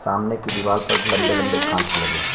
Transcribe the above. सामने की दीवार पर लंबे-लंबे काँच लगे हैं।